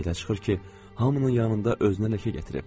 Belə çıxır ki, hamının yanında özünə ləkə gətirib.